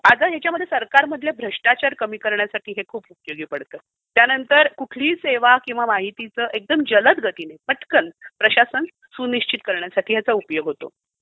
अगं, याच्यामध्ये सरकारमधले भ्रष्टाचार कमी करण्यासाठी हे खूप उपयोगी पडते. त्यानंतर कुठलीही सेवा किंवा माहितीचे एकदम जलद गतीने पटकन प्रशासन सुनिश्चित करण्यासाठी याचा उपयोग होतो.